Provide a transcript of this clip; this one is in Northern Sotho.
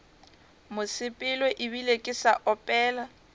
mosepelo ebile ke sa opela